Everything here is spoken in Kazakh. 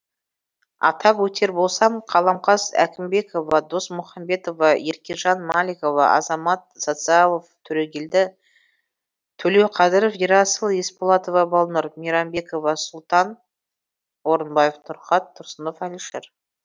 атап өтер болсам қаламқас әкімбекова досмухамбетова еркежан маликова азамат социалов төрегелді төлеуқадыров ерасыл есболатова балнұр мейрамбеков сұлтан орынбаев нұрхат тұрсынов әлішер